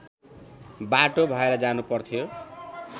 बाटो भएर जानुपर्थ्यो